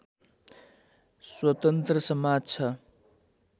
स्वतन्त्र समाज छ